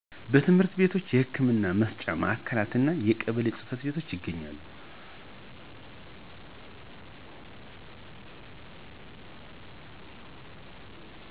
ትምህርት ቤቶች የህክምና መስጫ ማዕከላት እና የቀበሌ ጽ/ቤቶች ይገኛሉ